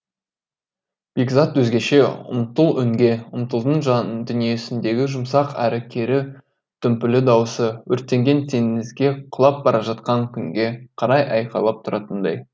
бекзат өзгеше ұмтыл өңге ұмтылдың жандүниесіндегі жұмсақ әрі кері дүмпулі дауысы өртенген теңізге құлап бара жатқан күнге қарай айқайлап тұратындай